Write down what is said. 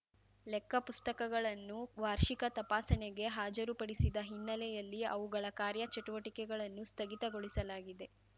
ಲೆಕ್ಕಪುಸ್ತಕಗಳನ್ನು ವಾರ್ಷಿಕ ತಪಾಸಣೆಗೆ ಹಾಜರುಪಡಿಸಿದ ಹಿನ್ನೆಯಲ್ಲಿ ಅವುಗಳ ಕಾರ್ಯಚಟುವಟಿಕೆಗಳನ್ನು ಸ್ಥಗಿತಗೊಳಿಸಲಾಗಿದೆ